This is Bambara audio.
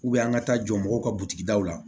an ka taa jɔ mɔgɔw ka butigi daw la